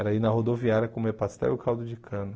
Era ir na rodoviária comer pastel e caldo de cana.